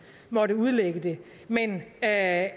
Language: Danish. måtte udlægge det men at